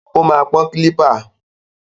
Ó máa pọ́n kílípà.